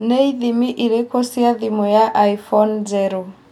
nĩ ithimi ĩrĩkũ cia thimũ ya iphone njerũ